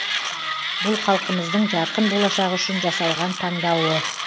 бұл халқымыздың жарқын болашағы үшін жасалған таңдауы